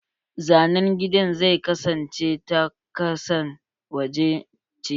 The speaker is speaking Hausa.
Zanen gidan zai kasance ta kasan waje ce.